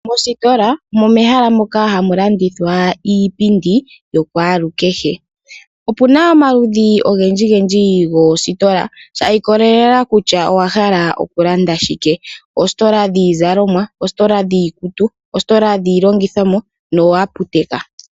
Mositola omo mehala moka hamu landithwa iipindi yakwalukehe. Opu na omaludhi ogendjigendji goositola shi ikolelela kutya owa hala okulanda shike. Oositola dhiizalomwa, oositola dhiikutu, oositola dhiilongithomwa nooaputeka.